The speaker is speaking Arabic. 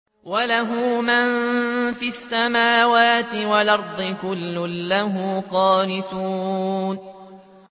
وَلَهُ مَن فِي السَّمَاوَاتِ وَالْأَرْضِ ۖ كُلٌّ لَّهُ قَانِتُونَ